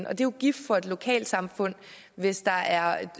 er jo gift for et lokalsamfund hvis der er